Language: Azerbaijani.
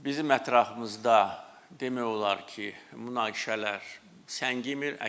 Bizim ətrafımızda demək olar ki, münaqişələr səngimir.